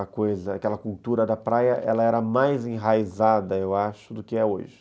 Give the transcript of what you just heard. Aquela cultura da praia era mais enraizada, eu acho, do que é hoje.